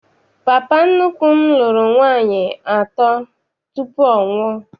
Papa nnukwu m lụrụ nwaanyị atọ tupu ọnwụ a.